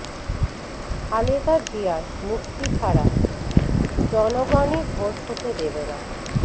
খালেদা জিয়ার মুক্তি ছাড়া জনগণই ভোট হতে দেবে না